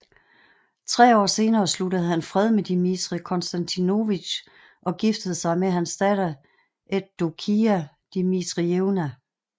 Tre år senere sluttede han fred med Dmitrij Konstantinovitj og giftede sig med hans datter Evdokija Dmitrijevna